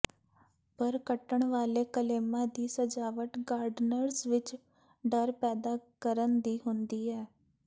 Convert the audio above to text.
ਪਰ ਕੱਟਣ ਵਾਲੇ ਕਲੇਮਾ ਦੀ ਸਜਾਵਟ ਗਾਰਡਨਰਜ਼ ਵਿਚ ਡਰ ਪੈਦਾ ਕਰਨ ਦੀ ਹੁੰਦੀ ਹੈ